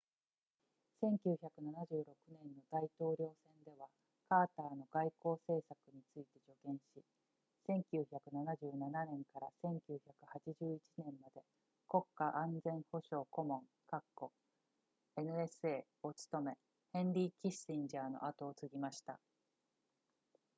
1976年の大統領選ではカーターの外交政策について助言し1977年から1981年まで国家安全保障顧問 nsa を務めヘンリーキッシンジャーの後を継ぎました